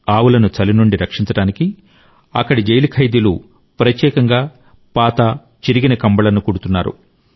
ఆవులను చలి నుండి రక్షించడానికి అక్కడి జైలు ఖైదీలు ప్రత్యేకంగా పాత చిరిగిన కంబళ్లను కుడుతున్నారు